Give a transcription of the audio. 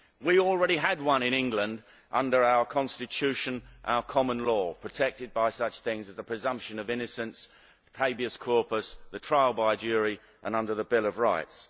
We already had one in England under our Constitution, our common law, protected by such things as the presumption of innocence, habeas corpus, the trial by jury and under the Bill of Rights.